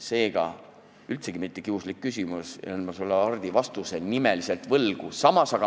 See ei ole üldsegi mitte kiuslik küsimus, aga ma jään sulle, Hardi, nimelise vastuse võlgu.